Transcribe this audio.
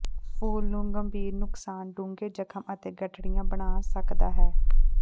ਫੂਲ ਨੂੰ ਗੰਭੀਰ ਨੁਕਸਾਨ ਡੂੰਘੇ ਜ਼ਖਮ ਅਤੇ ਗਠੜੀਆਂ ਬਣਾ ਸਕਦਾ ਹੈ